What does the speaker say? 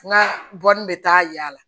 N ka bɔ ni bɛ taa yaala